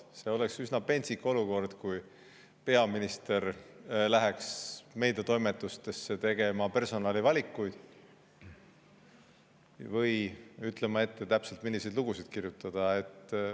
See oleks üsna pentsik olukord, kui peaminister läheks meediatoimetustesse personalivalikuid tegema või ütlema täpselt ette, milliseid lugusid kirjutada.